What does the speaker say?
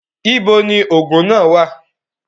Ibo ni òògùn náà wà?